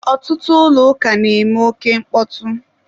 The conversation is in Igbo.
ọtụtụ ụlọ ụka na-eme oke mkpọtụ.